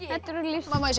má ég sjá